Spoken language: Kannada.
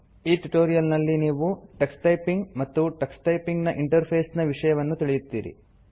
ಈ ಟ್ಯುಟೋರಿಯಲ್ ನಲ್ಲಿ ನೀವು ಟಕ್ಸ್ ಟೈಪಿಂಗ್ ಮತ್ತು ಟಕ್ಸ್ ಟೈಪಿಂಗ್ ನ ಇಂಟರ್ಫೇಸ್ ನ ವಿಷಯವನ್ನು ತಿಳಿಯುತ್ತೀರಿ